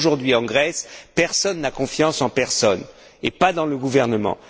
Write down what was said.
Parce qu'aujourd'hui, en Grèce, personne n'a confiance en personne, ni dans le gouvernement.